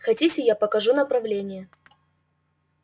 хотите я покажу направление